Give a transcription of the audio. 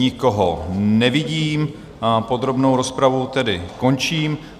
Nikoho nevidím, podrobnou rozpravu tedy končím.